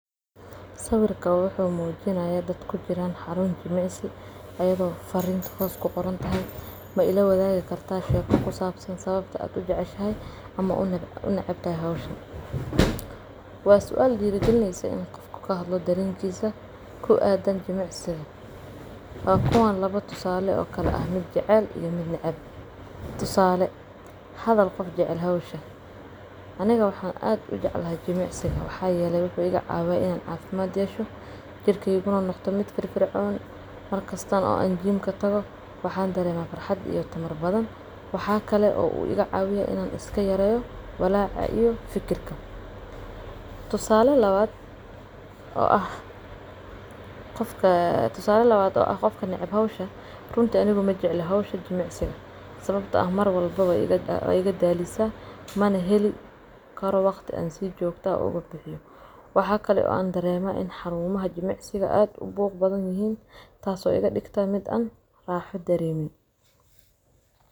Sawirkan wuxu mujinaya dad kujiran xarun jimcsi oo ayago farin hoos kuqorantahay ma ilawadig karta sawabta ad ujeceshahay ama unecbtahay howhan. Wa sual diro gaalineysa inu qofka kahdlo jimcisiga wa kuwaan lawo sualo kala ah mid jecel iyo mid neceb kowaad aniga waxa aad ujeclahay jimcsiga waxa yele wuxu igacawiyo in an cafimad yesho jirkeyga uu noqdo mid firfircoon markasta an jimka tago waxa darema farxad iyo tamarnadan waxa igacawiya in an iskailaliyo fikirka, tusale lawad waxa waye aniga majecli jimcsiga sawabto ah marwalbo wu igadaliya manaheli kar an waqti walbo igabixiyo waxa kalo xarumaha jimcsiga aad ubuq badan yihin taso igadigta in an raxo daremin.